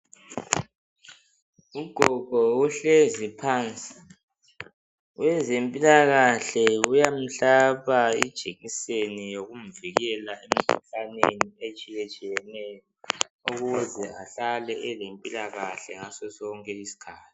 Ugogo uhlezi phansi owezempilakahle uyamhlaba ijekiseni yokumvikela emkhuhlaneni etshiyetshiyeneyo ukuze ahlale elempilakahle ngaso sonke isikhathi.